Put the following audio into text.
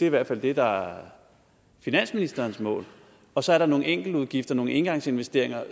i hvert fald det der er finansministerens mål og så er der nogle enkeltudgifter nogle engangsinvesteringer